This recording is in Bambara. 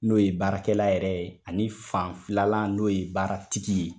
N'o ye baarakɛla yɛrɛ ye ani fan filanan n'o ye baaratigi ye.